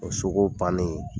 O so ko bannen